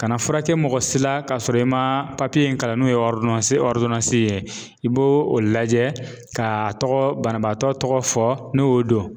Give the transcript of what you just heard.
Ka na furakɛ mɔgɔ si la ka sɔrɔ i ma papiye in kalan n'o ye ye. I b'o o lajɛ ka tɔgɔ banabaatɔ tɔgɔ fɔ ni y'o dɔn.